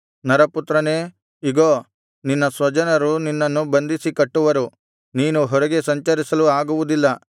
ನರಪುತ್ರನೇ ಇಗೋ ನಿನ್ನ ಸ್ವಜನರು ನಿನ್ನನ್ನು ಬಂಧಿಸಿ ಕಟ್ಟುವರು ನೀನು ಹೊರಗೆ ಸಂಚರಿಸಲು ಆಗುವುದಿಲ್ಲ